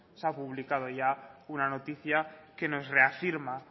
se ha publicado ya una noticia que nos reafirma